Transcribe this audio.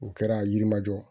U kɛra yirimajɔ